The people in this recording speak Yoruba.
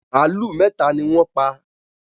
Màlúù mẹ́tà ni wọ́n pa.